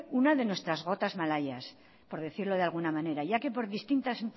una de nuestras gotas malayas por decirlo de alguna manera ya que por distintas